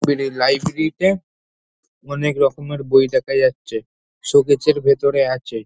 বেরী library টা অনেক রকমের বই দেখা যাচ্ছে। শোকেস এর ভেতরে আছে।